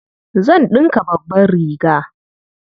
Zan ɗinka babbar riga.